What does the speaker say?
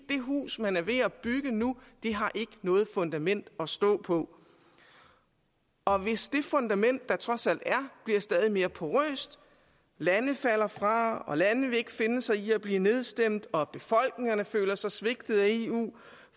det hus man er ved at bygge nu har ikke noget fundament at stå på og hvis det fundament der trods alt er bliver stadig mere porøst lande falder fra lande vil ikke finde sig i at blive nedstemt og befolkningerne føler sig svigtet af eu